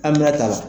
An bɛna taa